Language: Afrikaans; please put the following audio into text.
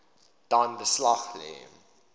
dan beslag lê